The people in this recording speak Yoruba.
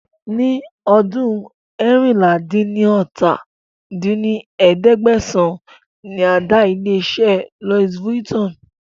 Ni ọdún eérinlá-dín-ní-ọ́ta dín ní ẹ̀ẹ́dẹ́gbẹ́sán ni a dá ilé iṣẹ́ Louis Vuitton